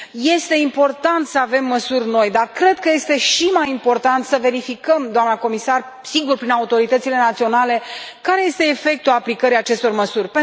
Este important să avem măsuri noi, dar cred că este și mai important să verificăm, doamnă comisar, sigur, prin autoritățile naționale, care este efectul aplicării acestor măsuri.